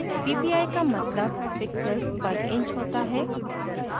ppi का मतलब pixels पर inch होता है